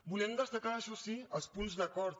volem destacar això sí els punts d’acord